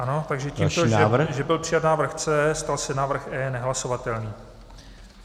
Ano, takže tímto, že byl přijat návrh C, stal se návrh E nehlasovatelným.